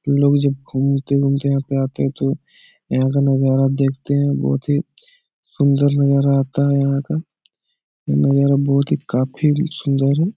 लोग जब घूमते-घूमते यहाँ पे आते तो यहाँ का नजर देखते हैं बहुत हीं सुंदर नजारा आता है यहाँ का ये नज़ारा बहुत ही काफी सुंदर है।